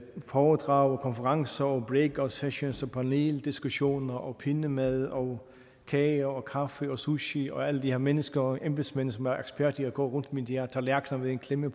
foredrag konferencer og breakout sessions og paneldiskussioner og pindemadder og kage og kaffe og sushi og alle de her mennesker og embedsmænd som er eksperter i at gå rundt med de her tallerkener med en klemme